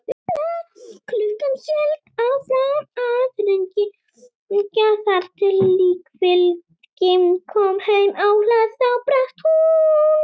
Klukkan hélt áfram að hringja þar til líkfylgdin kom heim á hlað, þá brast hún.